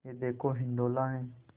यह देखो हिंडोला है